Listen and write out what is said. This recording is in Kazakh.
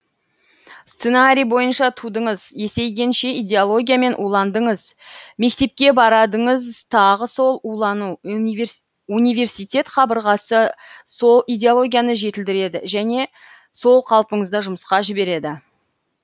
сценарий бойынша тудыңыз есейгенше идеологиямен уландыңыз мектепке барадыңыз тағы сол улану университет қабырғасы сол идеологияны жетілдіреді және сол қалпыңызда жұмысқа жібереді